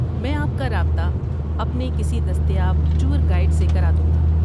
میں آپ کا رابطہ اپنے کسی دستیاب ٹور گائیڈ سے کرادوں گا۔